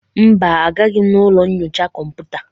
Mba, agaraghị m ụlọ nyocha kọmputa.